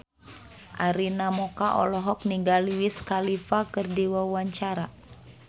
Arina Mocca olohok ningali Wiz Khalifa keur diwawancara